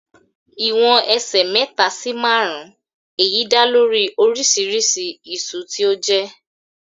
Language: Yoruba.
Ìwọ̀n ẹsẹ̀ mẹ́ta sì márùn-ún, èyí dá lórí oríṣiríṣi iṣu tí ó jé.